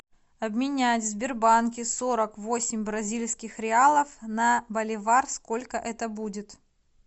обменять в сбербанке сорок восемь бразильских реалов на боливар сколько это будет